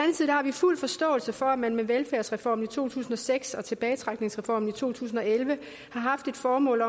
har vi fuld forståelse for at man med velfærdsreformen i to tusind og seks og tilbagetrækningsreformen i to tusind og elleve har haft det formål